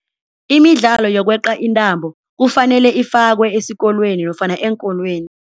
Imidlalo yokweqa intambo kufanele ifakwe esikolweni nofana eenkolweni.